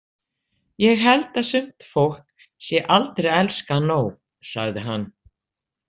Ég held að sumt fólk sé aldrei elskað nóg, sagði hann.